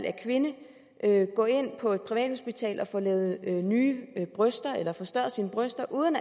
er kvinde gå ind på et privathospital og få lavet nye bryster eller forstørret sine bryster uden